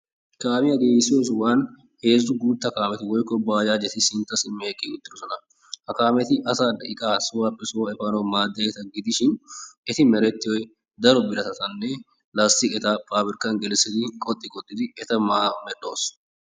Kaamiya giigissiyo sohuwan heezzu guutta kaameti woykko baajaajeti sintta simmi eqqi uttidosona. Ha kaameti asaanne iqaa sohuwappe sohuwa efaanawu maaddiyageeta gidishin eti merettiyoy daro biratatanne lasttiqeta paabirkkan gelissidi qoxxi qoxxidi eta medhdhoos.